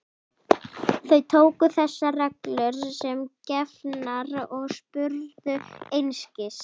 Þau tóku þessar reglur sem gefnar og spurðu einskis.